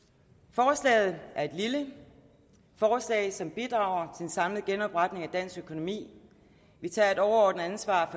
forslaget er et lille forslag som bidrager en samlet genopretning af dansk økonomi vi tager et overordnet ansvar